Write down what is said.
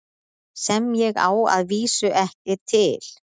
Sem ég á að vísu ekki til.